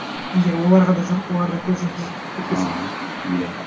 егер оларға да жұғып олар да көз жұмып і кетпесе аха иә